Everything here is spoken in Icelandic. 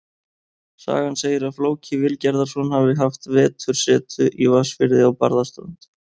Sagan segir að Flóki Vilgerðarson hafi haft vetursetu í Vatnsfirði á Barðaströnd.